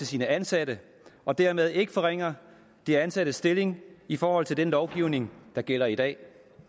sine ansatte og dermed ikke forringer de ansattes stilling i forhold til den lovgivning der gælder i dag